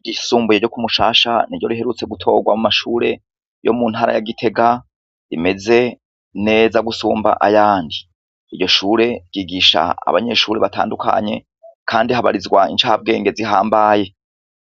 Ishure ry'isumbuye ryo Kumushasha riherutswe gutorwa mumashure yo muntara ya Gitega, rimeze neza gusumb'ayandi. Iryo shure ryigisha abanyeshure batandukanye Kandi habarizwa incambwenge zitandukanye.